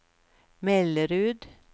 Mellerud